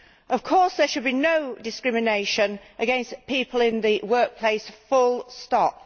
Of course, there should be no discrimination against people in the workplace full stop.